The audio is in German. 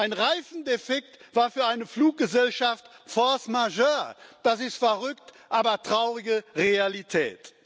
Ein Reifendefekt war für eine Fluggesellschaft force majeure das ist verrückt, aber traurige Realität.